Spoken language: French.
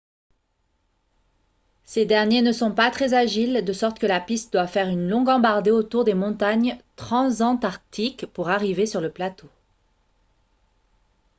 ces derniers ne sont pas très agiles de sorte que la piste doit faire une longue embardée autour des montagnes transantarctiques pour arriver sur le plateau